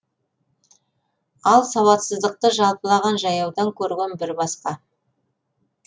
ал сауатсыздықты жалпылаған жаяудан көрген бір басқа